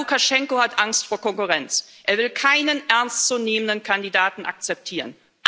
Aber Lukaschenka hat Angst vor Konkurrenz, er will keinen ernstzunehmenden Kandidaten akzeptieren.